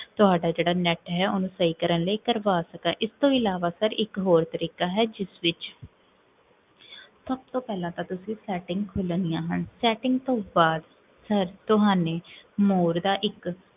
ਤੁਹਾਡਾ ਜੇਹੜਾ net ਹੈ, ਓਨੁ ਸਹੀ ਕਰਨ ਲਈ, ਇਸ ਤੋ ਇਲਾਵਾ sir, ਇਕ ਹੋਰ ਤਰੀਕਾ ਹੈ, ਜਿਸ ਵਿੱਚ, ਸਬ ਤੋਂ ਪੇਹ੍ਲਾਂ ਤਾਂ, ਤੁਸੀਂ ਸੇਤ੍ਟਿੰਗ ਖੁਲਨਦੀਆਂ ਹਨ setting ਤੋਂ ਬਾਦ, ਤੁਹਾਨੇ ਮੋੜਦਾ ਇਕ